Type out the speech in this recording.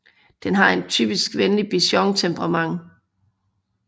Den har et typisk venlig Bichon temperament